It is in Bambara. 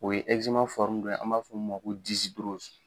O ye dɔ ye an b'a fɔ mun ma ko